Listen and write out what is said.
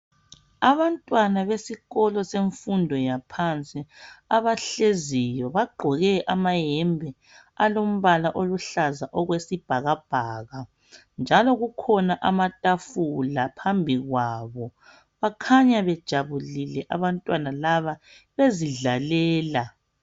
abantwana besikolo semfundo yaphansi abahleziyo bagqoke amayembe alombala oluhlaza okwesibhakabhaka njalo kukhona amatafula laphambi kwabo bakhanya bejabulile abantwana laba bezidlalela